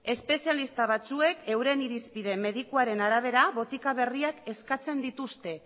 espezialista batzuek euren irizpide medikuaren arabera botika berriak eskatzen dituzte